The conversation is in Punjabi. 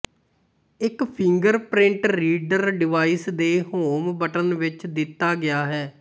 ਇੱਕ ਫਿੰਗਰਪ੍ਰਿੰਟ ਰੀਡਰ ਡਿਵਾਈਸ ਦੇ ਹੋਮ ਬਟਨ ਵਿੱਚ ਦਿਤਾ ਗਿਆ ਹੈ